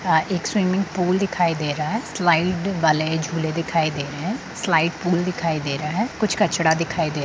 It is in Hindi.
यहां एक स्विमिंग पूल दिखाई दे रहा है स्लाइड वाले झूले दिखाई दे रहे है स्लाइड पूल दिखाई दे रहा है कुछ कचरा दिखाई दे --